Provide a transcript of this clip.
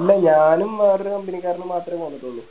ഇല്ല ഞാനും വേറൊരു Company ക്കാരനും മാത്രേ പോന്നിട്ടുള്ളു